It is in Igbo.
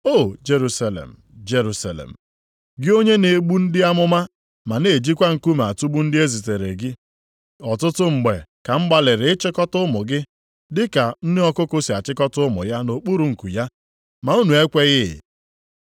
“O Jerusalem! Jerusalem! Gị onye na-egbu ndị amụma ma na-ejikwa nkume atụgbu ndị e ziteere gị. Ọtụtụ mgbe ka m gbalịrị ịchịkọta ụmụ gị dị ka nne ọkụkụ sị achịkọta ụmụ ya nʼokpuru nku ya, ma unu ekweghị.